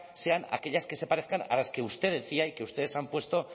sean aquellas que se parezcan a las que usted decía y que ustedes han puesto